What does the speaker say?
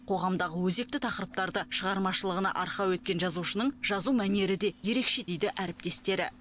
қоғамдағы өзекті тақырыптарды шығармашылығына арқау еткен жазушынының жазу мәнері де ерекше дейді әріптестері